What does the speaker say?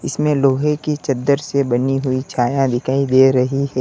इसमें लोहे की चद्दर से बनी हुई छाया दिखाई दे रही है।